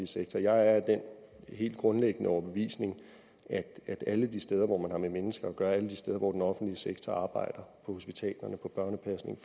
sektor jeg er af den helt grundlæggende overbevisning at alle de steder hvor man har med mennesker at gøre alle de steder hvor den offentlige sektor arbejder på hospitalerne i børnepasningen